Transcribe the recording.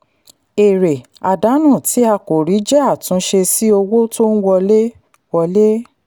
èrè àdánù tí a kò rí jẹ́ àtúnṣe sí owó tó ń wọlé. wọlé.